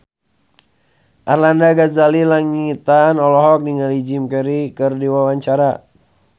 Arlanda Ghazali Langitan olohok ningali Jim Carey keur diwawancara